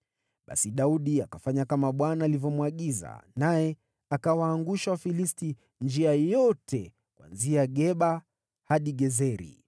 Basi Daudi akafanya kama Bwana alivyomwagiza, naye akawaangusha Wafilisti njia yote kuanzia Geba hadi Gezeri.